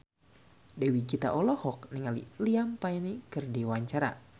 Dewi Gita olohok ningali Liam Payne keur diwawancara